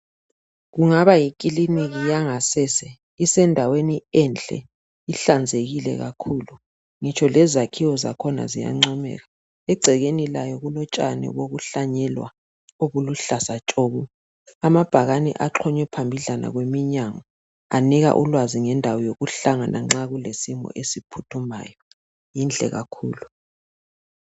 Kungaba yikiliniki yangasese. Isendaweni enhle, ihlanzekile kakhulu. Ngitsholezakhiwo zakhona ziyancomeka. Egcekeni layo kulotshani bokuhlanyelwa obuluhlaza tshoko. Amabhakani axhonywe phambidlala kweminyango. Anika oluwazi lwendawo yokuhlangana nxa kulesimo esiphuthumayo. Yinhle kakhulu.